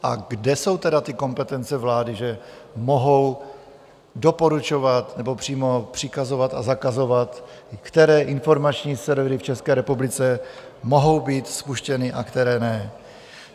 A kde jsou tedy ty kompetence vlády, že mohou doporučovat nebo přímo přikazovat a zakazovat, které informační servery v České republice mohou být spuštěny a které ne?